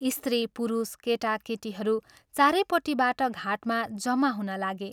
स्त्री पुरुष, केटा केटीहरू चारैपट्टिबाट घाटमा जम्मा हुनलागे।